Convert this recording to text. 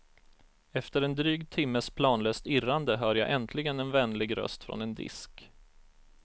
Efter en dryg timmes planlöst irrande hör jag äntligen en vänlig röst från en disk.